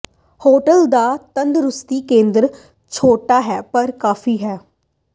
hotel ਦਾ ਤੰਦਰੁਸਤੀ ਕੇਂਦਰ ਛੋਟਾ ਹੈ ਪਰ ਕਾਫੀ ਹੈ